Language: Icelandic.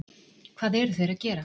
Hvað eru þeir að gera?